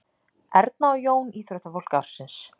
Erna og Jón íþróttafólk ársins